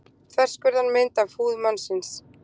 Þverskurðarmynd af húð mannsins.